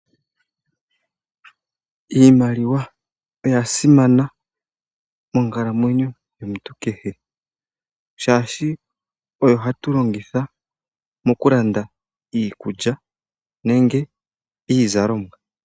Iimaliwa oya simana monkalamwenyo yomuntu kehe, shaashi oyo hatu longitha mokulanda iikulya, nenge iizalomwa.